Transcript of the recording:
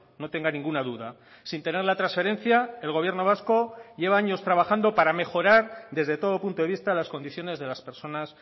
no tenga ninguna duda sin tener la transferencia el gobierno vasco lleva años trabajando para mejorar desde todo punto de vista las condiciones de las personas